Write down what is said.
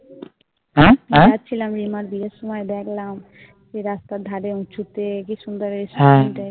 হ্যাঁ যাচ্ছিলাম রিমার বিয়ের সময় দেখলাম যে রাস্তার ধারে উঁচুতে কি সুন্দর এসছে